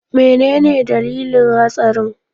Menene dalilin hatsarin?